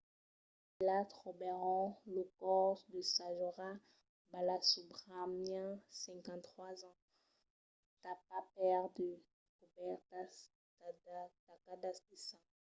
ailà trobèron lo còrs de saroja balasubramanian 53 ans tapat per de cobèrtas tacadas de sang